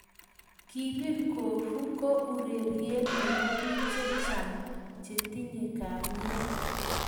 kipir Gofu ko urerie ne bo biik che chang che tiye kalyee.